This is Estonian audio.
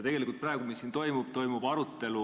Tegelikult on see, mis siin toimub, arutelu.